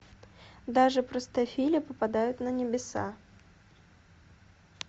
даже простофили попадают на небеса